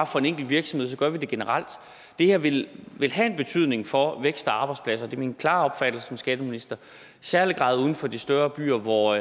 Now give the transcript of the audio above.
for én virksomhed men gør det generelt det her vil have en betydning for vækst og arbejdspladser det er min klare opfattelse som skatteminister i særlig grad uden for de større byer hvor